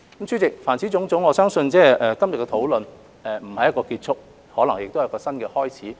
主席，凡此種種，我相信今天的討論並不是一個終結，可能是一個新的開始。